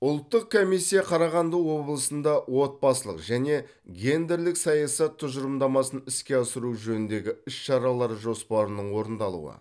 ұлттық комиссия қарағанды облысында отбасылық және гендерлік саясат тұжырымдамасын іске асыру жөніндегі іс шаралар жоспарының орындалуы